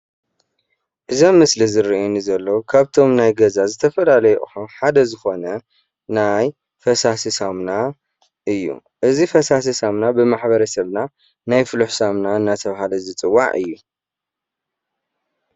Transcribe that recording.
እዚ ኣብ ምስሊ ዝረአየኒ ዘሎ ካብቶም ናይ ገዛ ዝተፈላለዩ ኣቑሑ ሓደ ዝኾነ ናይ ፈሳሲ ሳሙና እዩ። እዚ ፈሳሲ ሳሙና ብማሕበረ ሰብና ናይ ፍሉሕ ሳምና እንዳተባሃለ ዝፅዋዕ እዩ።